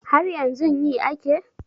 Haryanzun yi ake